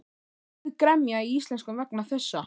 Sauð gremja í Íslendingum vegna þessa.